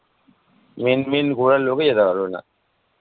main main ঘোরার লোকই যেতে পারবে না